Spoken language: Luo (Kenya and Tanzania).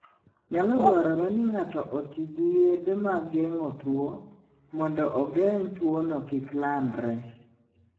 Nyalo dwarore ni ng'ato oti gi yedhe mag geng'o tuwo, mondo ogeng' tuwono kik landre.